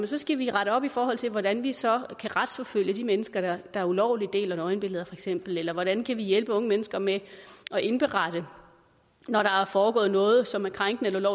så skal vi rette op i forhold til hvordan vi så kan retsforfølge de mennesker der ulovligt deler nøgenbilleder eller hvordan kan vi hjælpe unge mennesker med at indberette når der er foregået noget som er krænkende eller